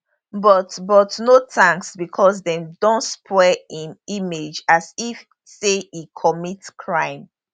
but but no thanks becos dem don spoil im image as if say e commit crime